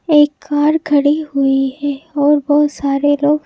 एक कार खड़ी हुई है और बहुत सारे लोग--